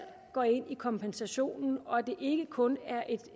gå ind i kompensationen og at det ikke kun er et